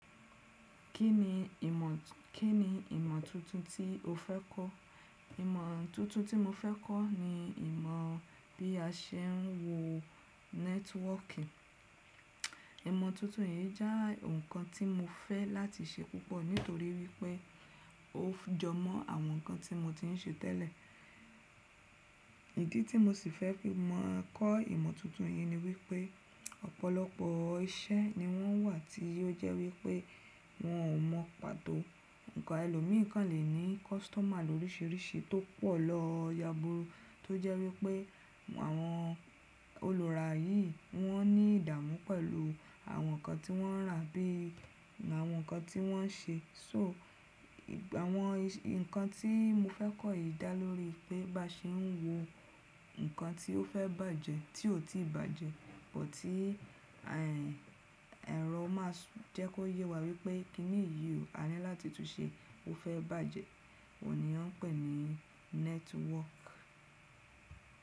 Kí ni ìmọ̀, kí ni ìmọ̀ tuntun tí o fẹ́ kọ́? Ìmọ̀ tuntun tí mo fẹ́ kọ́ ni ìmọ̀ bí a ṣe ń wo nẹ́tíwọ̀kì. Ìmọ̀ tuntun yìí jẹ́ ǹkan tí mo fẹ́ láti ṣe púpọ̀ nítorí wípé ó jọmọ́ àwọn ǹkan tí mo ti ń ṣe tẹ́lẹ̀. Ìdí tí mo sì fẹ́ kí mo máa kọ́ ìmọ̀ tuntun yìí ni wípé ọ̀pọ̀lọpọ̀ iṣẹ́ ni wọ́n wà tí ó jẹ́ wípé wọn ò mọ pàtó. Ǹkan ẹlòmíràn lè ní kọ́sítọ́mà lóríṣiríṣi tó pọ̀ lọ yáburú tó jẹ́ wípé àwọn olùràyì wọ́n ní ìdààmú pẹ̀lú àwọn ǹkan tí wọ́n rà bí i àwọn ǹkan tí wọ́n ṣe. So àwọn ǹkan tí mo fẹ́ kọ́ yìí dá lórí pé bá ṣe ń wo ǹkan tí ó fẹ́ bàjẹ́ tí ó ò tíì bàjẹ́, bọ̀ tí ẹ̀rọ máa jẹ́ kó yé wa wípé kí ni yio a ní láti tún ṣe ó fẹ́ bàjẹ́. Òní wọ́n pè ní nẹ́tíwọ̀kì.